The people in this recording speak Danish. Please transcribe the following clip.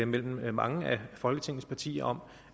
mellem mange af folketingets partier om